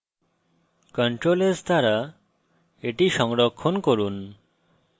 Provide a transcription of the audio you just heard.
ctrl s দ্বারা এটি সংরক্ষণ করুন